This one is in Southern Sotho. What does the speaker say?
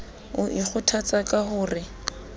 o ikgothatsa ka ho re